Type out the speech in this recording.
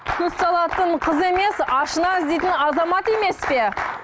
көз салатын қыз емес ашына іздейтін азамат емес пе